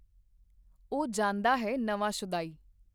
ਔਹ ਜਾਂਦਾ ਹੈ ਨਵਾਂ ਸ਼ੁਦਾਈ